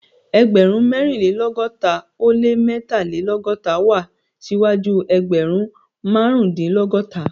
Ẹgbẹ̀rún mẹ́rìnlélọ́gọ́ta ó lé mẹ́tàlélọ́gọ́ta wá síwájú ẹgbẹ̀rún márùndínlọ́gọ́ta